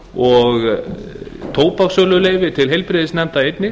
og tóbakssöluleyfi til heilbrigðisnefnda einnig